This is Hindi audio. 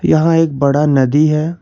यहां एक बड़ा नदी है।